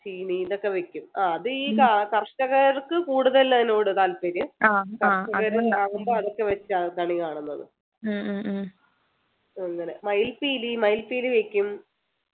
ചീനി ഇതൊക്ക വെക്കും ആഹ് അത് ഈ ക കർഷകർക്ക് കൂടുതൽ അതിനോട് താൽപര്യം കര്ഷകര് ഉണ്ടാകുമ്പോ അതൊക്കെ വച്ച് അതാണ് ഈ കാണുന്നത് അങ്ങനെ മയിപ്പീലി മയിൽ‌പീലി വെക്കും